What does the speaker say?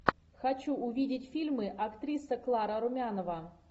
хочу увидеть фильмы актриса клара румянова